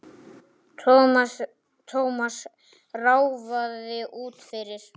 Thomas ráfaði út fyrir.